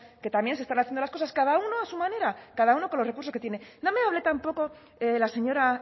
que también se están haciendo las cosas cada uno a su manera cada uno con los recursos que tiene no me hable tampoco la señora